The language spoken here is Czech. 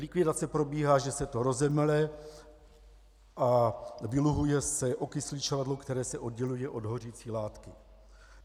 Likvidace probíhá, že se to rozemele a vyluhuje se okysličovadlo, které se odděluje od hořící látky.